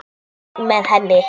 Einn með henni.